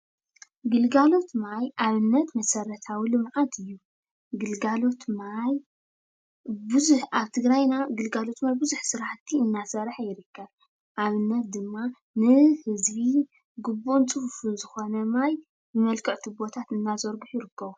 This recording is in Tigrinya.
ግልጋሎት ማይ ኣብነት መሰርታዊ ልምዓት እዩ። ግልጋሎት ማይ ብዙሕ ኣብ ትግራይና ግልጋሎት ማይ ቡዙሕ ስራሕቲ ኣናሰርሐ ይርከብ። ኣብነት ድማ ንህዝቢ ግቡእን ፀፉፍን ዝኾነ ማይ ብመልክዕ ቱቦታት እናዘርግሑ ይርከቡ።